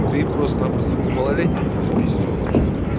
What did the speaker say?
ты просто-напросто ты малолетним пизденож